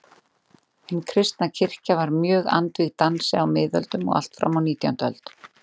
Hin kristna kirkja var mjög andvíg dansi á miðöldum og allt fram á nítjándu öld.